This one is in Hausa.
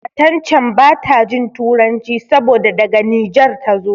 Matan can bata jin Turanci saboda daga Nijar tazo.